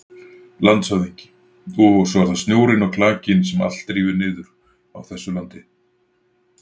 LANDSHÖFÐINGI: Og svo er það snjórinn og klakinn sem allt rífur niður á þessu landi.